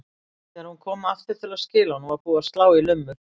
Þegar hún kom aftur til að skila honum var búið að slá í lummur.